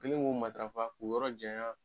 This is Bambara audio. U kɛlen k'o matarafa k'u yɔrɔ janya